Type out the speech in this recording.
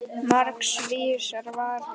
Margs vísari.